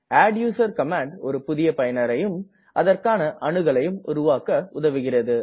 adduser command ஒரு புதிய பயனரையும் அதற்கான அணுகலையும் உருவாக்க உதவுகிறது